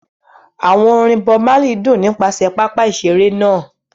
Àwọn orin Bob Marley dún nípasẹ̀ pápá ìṣeré náà.